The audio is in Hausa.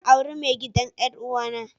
Zan aure mai gidan 'yar'uwa na.